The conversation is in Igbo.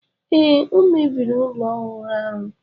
Ee, o mebiri ụlọ ọhụrụ ahụ.